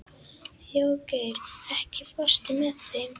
Þjóðgeir, ekki fórstu með þeim?